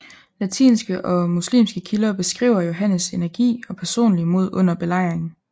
Latinske og muslimske kilder beskriver Johannes energi og personlige mod under belejringen